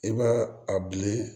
I b'a a bilen